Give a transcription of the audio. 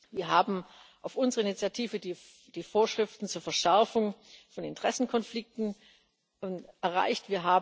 Wir haben auf unsere Initiative die Vorschriften zur Verschärfung von Interessenkonflikten erreicht.